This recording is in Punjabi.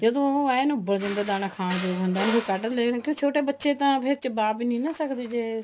ਜਦੋਂ ਉਹ ਦਾਣਾ ਖਾਣ ਯੋਗ ਹੁੰਦਾ ਉਹਨੂੰ ਫ਼ੇਰ ਕੱਡ ਲੈਣ ਫ਼ੇਰ ਛੋਟੇ ਬੱਚੇ ਤਾਂ ਚਬਾ ਵੀ ਨੀ ਸਕਦੇ ਨਾ ਜੇ